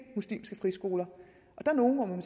muslimske friskoler der er nogle hvor man